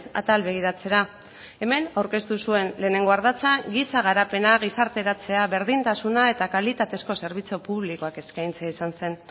atal begiratzera hemen aurkeztu zuen lehenengo ardatza giza garapena gizarteratzea berdintasuna eta kalitatezko zerbitzu publikoak eskaintzea izan zen